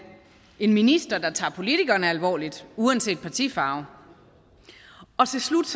en minister der tager politikerne alvorligt uanset partifarve og til slut